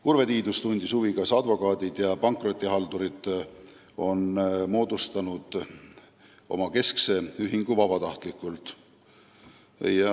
Urve Tiidus tundis huvi, kas advokaadid ja pankrotihaldurid on oma keskse ühingu moodustanud vabatahtlikult.